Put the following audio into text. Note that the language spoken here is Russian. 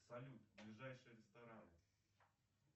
салют ближайшие рестораны